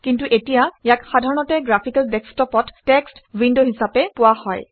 কিন্তু এতিয়া ইয়াক সাধাৰণতে গ্ৰাফিকেল ডেস্কটপত টেক্সট উইণ্ড হিচাপে পোৱা হয়